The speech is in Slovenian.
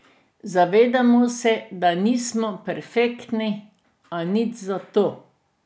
Zavedamo se, da nismo perfektni, a nič zato.